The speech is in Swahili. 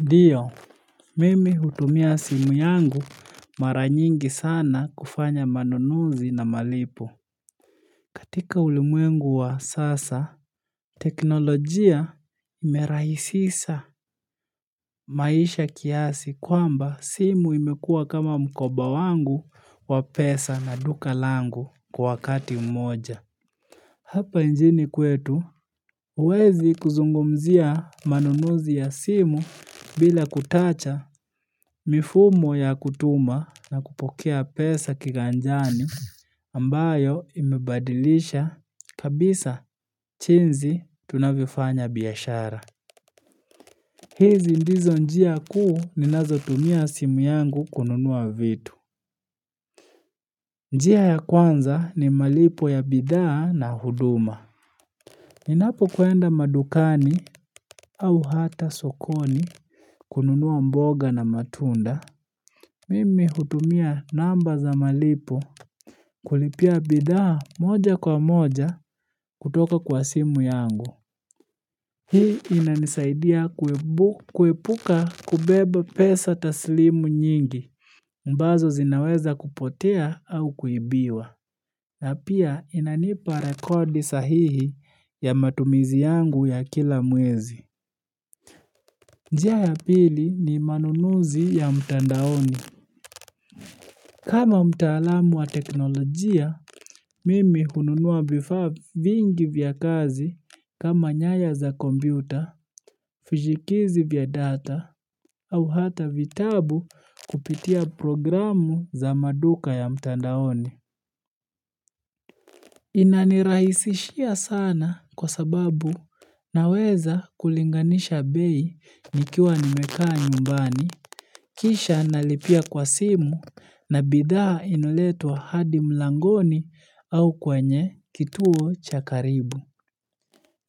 Ndio, mimi hutumia simu yangu mara nyingi sana kufanya manunuzi na malipo. Katika ulimwengu wa sasa, teknolojia imerahisisa maisha kiasi kwamba simu imekua kama mkoba wangu wa pesa na duka langu kwa wakati mmoja. Hapa nchini kwetu, huwezi kuzungumzia manunuzi ya simu bila kutacha. Mifumo ya kutuma na kupokea pesa kiganjani ambayo imebadilisha kabisa chinzi tunavyofanya biashara. Hizi ndizo njia kuu ninazotumia simu yangu kununua vitu. Njia ya kwanza ni malipo ya bidhaa na huduma. Ninapokwenda madukani au hata sokoni kununua mboga na matunda. Mimi hutumia namba za malipo kulipia bidhaa moja kwa moja kutoka kwa simu yangu. Hii inanisaidia kuepuka kubeba pesa taslimu nyingi, ambazo zinaweza kupotea au kuibiwa. Na pia inanipa rekodi sahihi ya matumizi yangu ya kila mwezi. Njia ya pili ni manunuzi ya mtandaoni. Kama mtaalamu wa teknolojia, mimi hununua vifaa vingi vya kazi kama nyaya za kompyuta, fujikizi vya data, au hata vitabu kupitia programu za maduka ya mtandaoni. Inanirahisishia sana kwa sababu naweza kulinganisha bei nikiwa nimekaa nyumbani. Kisha nalipia kwa simu na bidhaa inaletwa hadi mlangoni au kwenye kituo cha karibu.